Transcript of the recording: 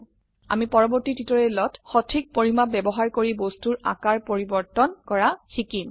আমি পৰবৰ্তী টিউটোৰিয়েলত সঠিক পৰিমাপ ব্যবহাৰ কৰি বস্তুৰ আকাৰ পৰিবৰ্তন কৰা শিকিম